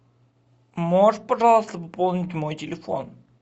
можешь пожалуйста пополнить мой телефон